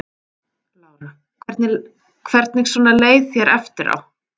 Lára: Hvernig svona leið þér eftir á?